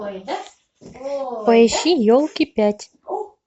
поищи елки пять